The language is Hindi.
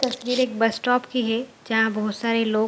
तस्वीर एक बस स्टॉप की है जहाँ बहोत सारे लोग --